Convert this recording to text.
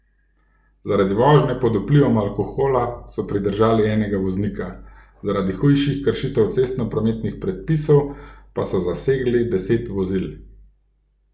Zaradi vožnje pod vplivom alkohola so pridržali enega voznika, zaradi hujših kršitev cestnoprometnih predpisov pa so zasegli deset vozil.